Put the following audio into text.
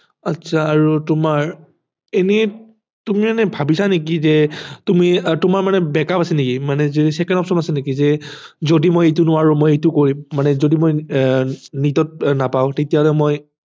আচ্ছা আৰু তোমাৰ এনেই তুমি এনেই ভাবিছা নেকি যে তুমি তোমাৰ মানে back up আছে নেকি মানে যে second option আছে নেকি যে যদি মই এইটো নোৱাৰো মই এইটো কৰিম মানে যদি মই আহ NEET ত নাপাও তেতিয়াহলে মই